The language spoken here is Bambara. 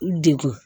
Degun